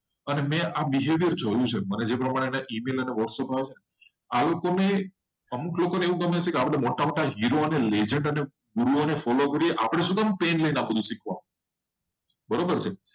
અને મેં આ વીડિયોમાં જોયું છે. અમુક લોકો મોટા મોટા લેઝન્ડો ને જોવે છે વિડીયો જોવે છે. અને આ લોકોને પેન લેવું નથી.